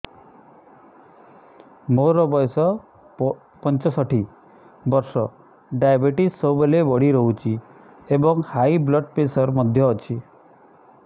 ମୋର ବୟସ ପଞ୍ଚଷଠି ବର୍ଷ ଡାଏବେଟିସ ସବୁବେଳେ ବଢି ରହୁଛି ଏବଂ ହାଇ ବ୍ଲଡ଼ ପ୍ରେସର ମଧ୍ୟ ଅଛି